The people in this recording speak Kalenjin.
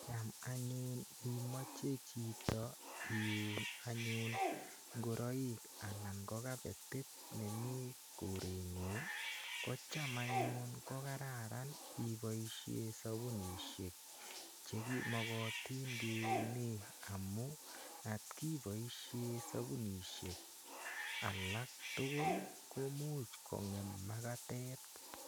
Cham anyun imache chito iun anyun ngoroik anan ko kapetit ne mi koreng'ung' ko cham anyun ko kararan ipoishe sapunishek che makat kiunee amu ngot i paishe sapunishek alak tugul ko much kong'em makatet.